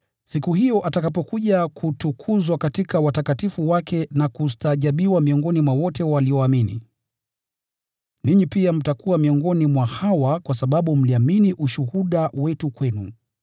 siku hiyo atakapokuja kutukuzwa katika watakatifu wake na kustaajabiwa miongoni mwa wote walioamini. Ninyi pia mtakuwa miongoni mwa hawa kwa sababu mliamini ushuhuda wetu kwenu.